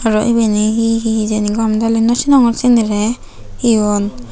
aro ibeni he he hijeni gomey daley naw sinongor sinirey he hon.